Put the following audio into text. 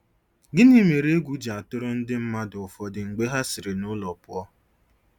Gịnị mere egwu ji atụrụ ndị mmadụ ụfọdụ mgbe ha siri nụlọ pụọ?